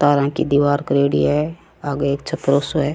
तारा की दिवार करेड़ी है आगे एक छपरो सो है।